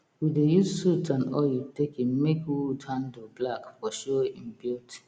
we dey use soot and oil taken make wood handle black for show im beauty